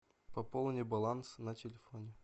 пополни баланс на телефоне